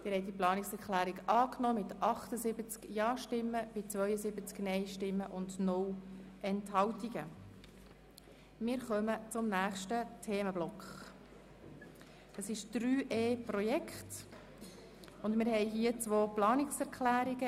Der Regierungsrat wird aufgefordert, die Zeitpläne von laufenden strategischen Projekten (ERP, Direktionsreform, eGov) wesentlich zu straffen und die Projekte (insbesondere auch die Direktionsreform) inhaltlich so zu gestalten, dass eine Optimierung bzw. Verschlankung von Prozessen resultiert.